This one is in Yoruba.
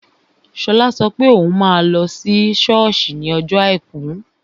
Shola sọ pé òun máa lọ sí sọ́ọ̀sì ní ọjọ́ àìkú